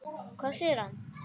Hvað sér hann?